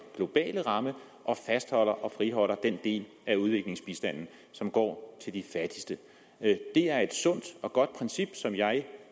globale ramme og fastholder og friholder den del af udviklingsbistanden som går til de fattigste det er et sundt og godt princip som jeg